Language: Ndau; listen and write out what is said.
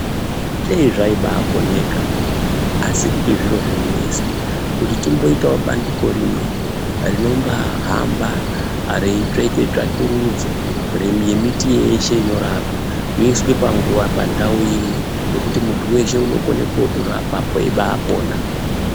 Dei zvaibakoneka asi kuti zviro zvinonesa kuti tingoitawo bandiko rimwe ringahamba reitsveke tsvakurudzo remiti yeshe inorapa inoiswa pandau imwe pekuti muntu weshe anokona kutora apap eipona.